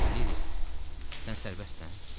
Valeriya, sən sərbəstsən?